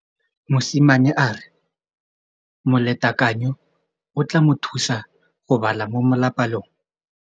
Mosimane a re molatekanyô o tla mo thusa go bala mo molapalong.